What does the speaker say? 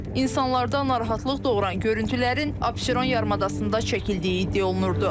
İnsanlarda narahatlıq doğuran görüntülərin Abşeron yarımadasında çəkildiyi iddia olunurdu.